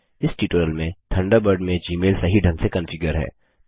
इस ट्यूटोरियल में थंडरबर्ड में जीमेल सही ढंग से कॉन्फ़िगर है